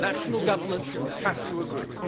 National governments have to agree.